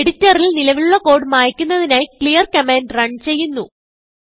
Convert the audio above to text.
എഡിറ്ററിൽ നിലവിലുള്ള കോഡ് മായിക്കുന്നതിനായി ക്ലിയർ കമാൻഡ് റണ് ചെയ്യുന്നു